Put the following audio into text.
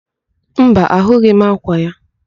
Mba, ahụghị m ákwà ya.